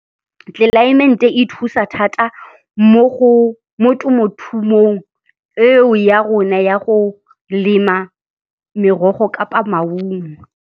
Tlelaemente e thusa thata mo temothumong eo ya rona ya go lema merogo kapa maungo.